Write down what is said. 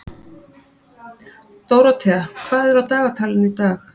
Dórótea, hvað er á dagatalinu í dag?